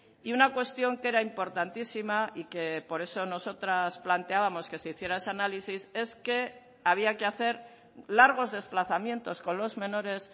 y una cuestión que era importantísima y que por eso nosotras planteábamos que se hiciera ese análisis es que había que hacer largos desplazamientos con los menores